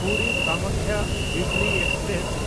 ᱯᱩᱨᱤ–ᱠᱟᱢᱟᱠᱠᱷᱟ ᱩᱭᱤᱠᱞᱤ express